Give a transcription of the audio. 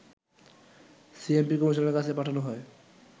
CMP কমিশনারের কাছে পাঠানো হয়